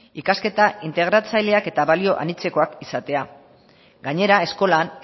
ikasketa integratzaileak eta balio anitzekoak izatea gainera eskolan